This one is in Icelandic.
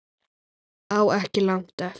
Á ekki langt eftir